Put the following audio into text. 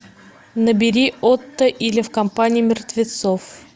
набери отто или в компании мертвецов